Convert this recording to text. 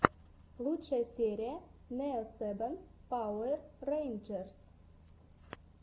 лучшая серия нео сэбэн пауэр рэйнджерс